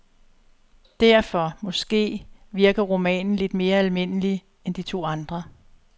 Derfor, måske, virker romanen lidt mere almindelig end de to andre.